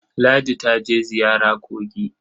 Ladi ta je ziyara kogi.